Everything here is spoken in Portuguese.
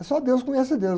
É só Deus que conhece Deus.